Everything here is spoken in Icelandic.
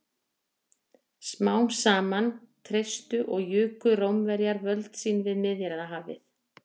Smám saman treystu og juku Rómverjar völd sín við Miðjarðarhafið.